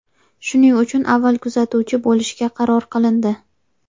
Shuning uchun avval kuzatuvchi bo‘lishga qaror qilindi.